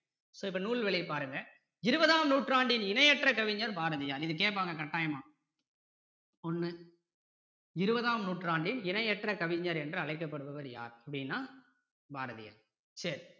so இப்போ நூல்வெளி பாருங்க இருபதாம் நூற்றாண்டின் இணையற்ற கவிஞர் பாரதியார் இது கேட்பாங்க கட்டாயமா ஒண்ணு இருபதாம் நூற்றாண்டின் இணையற்ற கவிஞர் என்று அழைக்கப்படுபவர் யார் அப்படின்னா பாரதியார்